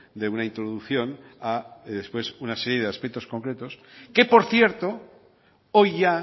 de una introducción a una serie de aspectos concretos que por cierto hoy ya